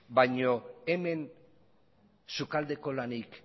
baina hemen sukaldeko lanik